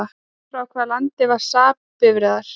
Frá hvaða landi voru SAAB bifreiðar?